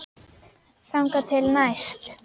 Þangað til næst.